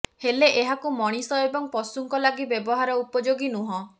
ହେଲେ ଏହାକୁ ମଣିଷ ଏବଂ ପଶୁଙ୍କ ଲାଗି ବ୍ୟବହାର ଉପଯୋଗୀ ନୁହଁ